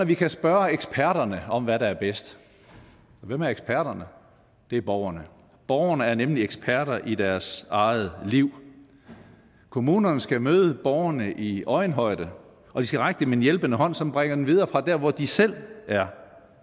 vi kan spørge eksperterne om hvad der er bedst og hvem er eksperterne det er borgerne borgerne er nemlig eksperter i deres eget liv kommunerne skal møde borgerne i øjenhøjde og de skal række dem en hjælpende hånd som bringer dem videre fra der hvor de selv er